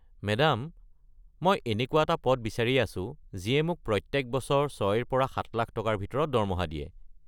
Madam মই এনেকুৱা এটা পদ বিচাৰি আছো যিয়ে মোক প্ৰত্যেক বছৰ ৬-ৰ পৰা ৭ লাখ টকাৰ ভিতৰত দৰমহা দিয়ে।